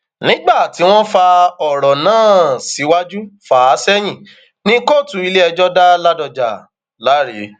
nígbà tí wọn fa ọrọ náà um síwájú fà á sẹyìn ni kóòtù iléẹjọ dá ládọjà um láre